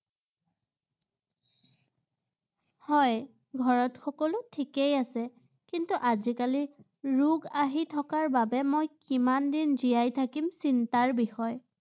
হয়, ঘৰত সকলো ঠিকেই আছে ৷ কিন্তু আজিকালি ৰোগ আহি থকাৰ বাবে মই কিমান দিন জীয়াই থাকিম চিন্তাৰ বিষয় ৷